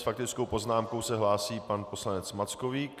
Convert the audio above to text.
S faktickou poznámkou se hlásí pan poslanec Mackovík .